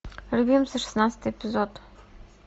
любимцы шестнадцатый эпизод